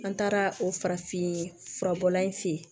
An taara o farafin furabɔla in fe yen